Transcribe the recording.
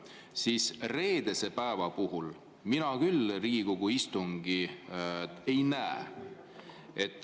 Kuid reedese päeva puhul mina küll Riigikogu istungit ei näe.